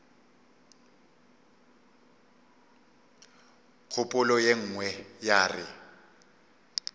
kgopolo ye nngwe ya re